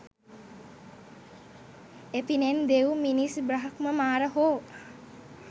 එපිනෙන් දෙව්, මිනිස් බ්‍රහ්ම මාර හෝ